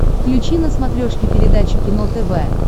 включи на смотрешке передачу кино тв